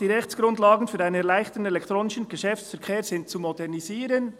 «Die Rechtsgrundlagen für einen erleichterten elektronischen Geschäftsverkehr sind zu modernisieren.»